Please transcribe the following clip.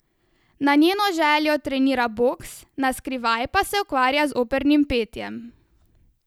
Na njeno željo trenira boks, naskrivaj pa se ukvarja z opernim petjem.